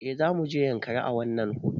Eh zamuje yankari a wannan hutun